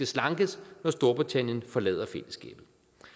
slankes når storbritannien forlader fællesskabet